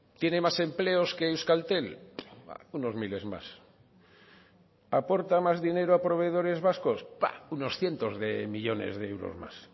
tiene más empleos que euskaltel unos miles más aporta más dinero a proveedores vascos unos cientos de millónes de euros más